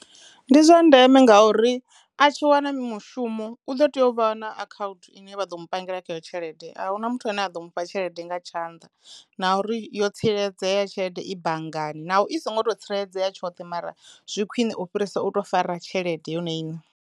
Ndi zwa ndeme ngauri a tshi wana mushumo u ḓo teyo u vha na akhauthu ine vha ḓo mu pangele khayo tshelede a hu na muthu ane a ḓo mufha tshelede nga tshanḓa na uri yo tsireledzea tshelede i banngani naho i songo to tsireledzea tshoṱhe mara zwi khwiṋe u fhirisa u to fara tshelede yone iṋe.